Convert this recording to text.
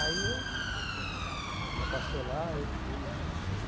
Aí eu ela passou lá, eu fui.